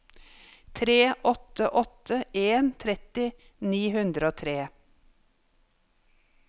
tre åtte åtte en tretti ni hundre og tre